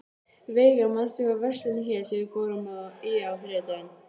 Veiga, manstu hvað verslunin hét sem við fórum í á þriðjudaginn?